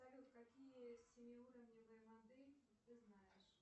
салют какие семиуровневые модели ты знаешь